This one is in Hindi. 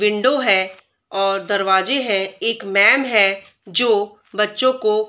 विंडो है और दरवाजे है एक मैम है जो बच्चो को --